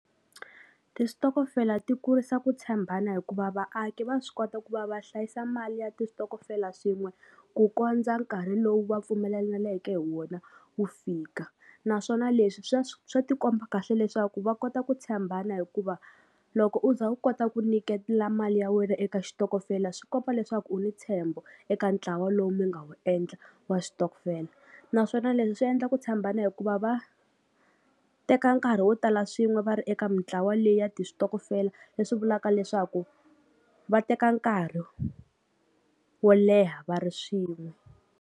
Tistokofela ti kurisa ku tshembana hikuva vaaki va swi kota ku va va hlayisa mali ya tistokofela swin'we ku kondza nkarhi lowu va pfumelelaneke hi wona wu fika naswona leswi swa swa tikomba kahle leswaku va kota ku tshembana hikuva loko u za u kota ku nyiketela mali ya wena eka xitokofela swi kota leswaku u ni ntshembo eka ntlawa lowu mi nga wu endla wa switokofela naswona leswi swi endla ku tshembana hikuva va teka nkarhi wo tala swin'we va ri eka mintlawa leyi ya ti switokofela leswi vulaka leswaku va teka nkarhi wo leha va ri swin'we.